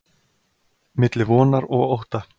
Milli vonar og ótta.